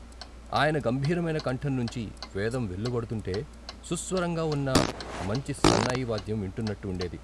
ఆయన గంభీరమైన కంఠం నుంచి వేదం వెలువడుతుంటే సుస్వరంగా వున్న మంచి సన్నాయి వాద్యం వింటున్నట్టు వుండేది.